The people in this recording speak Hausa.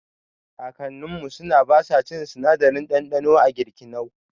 Kakanninmu suna basa cin sinadarin ɗanɗano a girkinau